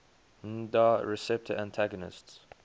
nmda receptor antagonists